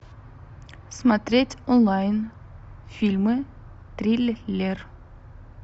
смотреть онлайн фильмы триллер